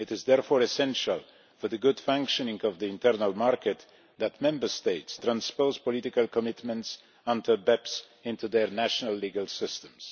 It is therefore essential for the good functioning of the internal market that Member States transpose political commitments until BEPS enters their national legal systems.